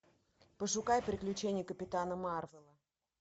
пошукай приключения капитана марвела